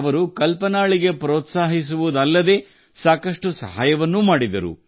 ಅವರು ಕಲ್ಪನಾಳಿಗೆ ಪ್ರೋತ್ಸಾಹಿಸುವುದಲ್ಲದೇ ಸಾಕಷ್ಟು ಸಹಾಯವನ್ನೂ ಮಾಡಿದರು